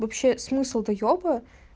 вообще смысл доёба